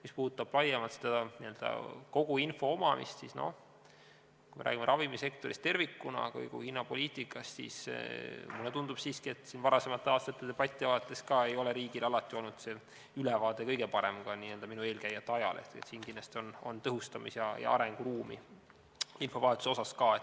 Mis puudutab laiemalt n-ö kogu info omamist, siis kui me räägime ravimisektori hinnapoliitikast tervikuna, siis mulle tundub, et siiski – ka varasemate aastate debatti vaadates – riigil ei ole alati olnud kõige parem ülevaade, ka minu eelkäijate ajal, st siin on kindlasti arenguruumi, ka infovahetuse tõhustamise mõttes.